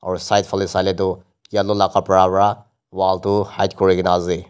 aro side phaleh saileh du yellow la kapra wra wall du hide kuri gina asey.